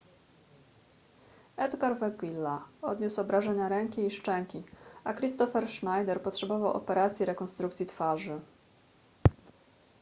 edgar veguilla odniósł obrażenia ręki i szczęki a kristoffer schneider potrzebował operacji rekonstrukcji twarzy